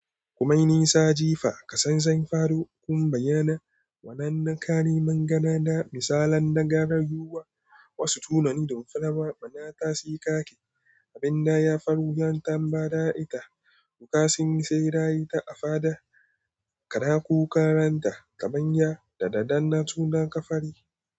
Kumaini sa jifa ka sanzai fado kuma bayyana wannan ƙariman gada na misalan na gari zuwa wasu tunani da mu kuma bana kasikake abin da ya faru yayin tambayar ita. Duka sun yi sai raye ta afaɗa kada ku karanta gaban ya da daddana suna ƙafari.